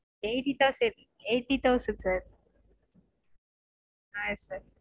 eighty thousand eighty thousand sir